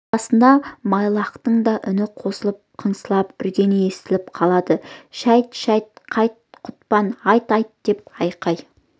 арасында майлыаяқтың да үн қосып қыңсылап үргені естіліп қалады шәйт шәйт қайт құтпан айт айт деп айқай